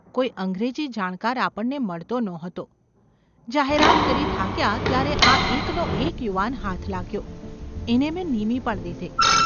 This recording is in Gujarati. ‘કોઈ અંગ્રેજી જાણકાર આપણને મળતો નહોતો; જાહેરાત કરી થાક્યા ત્યારે આ એકનો એક યુવાન હાથ લાગ્યો એને મેં નીમી પણ દીધે.